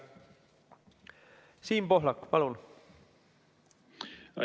Siim Pohlak, palun!